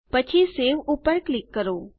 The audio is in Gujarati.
પછી સવે ઉપર ક્લિક કરો